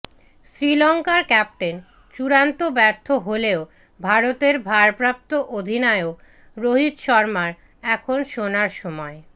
শ্রীলঙ্কার ক্যাপ্টেন চূড়ান্ত ব্যর্থ হলেও ভারতের ভারপ্রাপ্ত অধিনায়ক রোহিত শর্মার এখন সোনার সময়